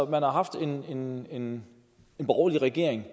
har haft en en borgerlig regering